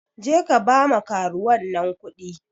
Jeka ba ma karuwan nan kuɗi.